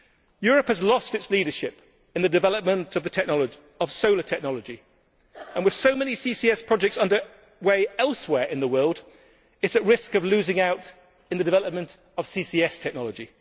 Europe has lost its leadership in the development of solar technology and, with so many CCS projects underway elsewhere in the world, it is at risk of losing out in the development of CCS technology.